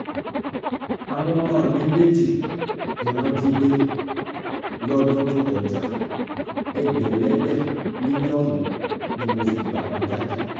àwọn ọmọ mi méjì ni wọ́n jí gbé lọ́dún tó kọjá ẹgbẹ̀lẹ́gbẹ́ mílíọ̀nù ni mo fi gbà wọ́n jáde